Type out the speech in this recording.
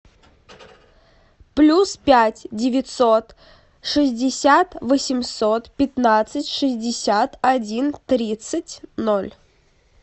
плюс пять девятьсот шестьдесят восемьсот пятнадцать шестьдесят один тридцать ноль